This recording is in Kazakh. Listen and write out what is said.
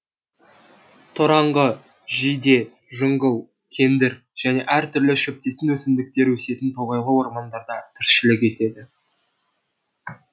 тораңғы жиде жыңғыл кендір және әр түрлі шөптесін өсімдіктер өсетін тоғайлы ормандарда тіршілік етеді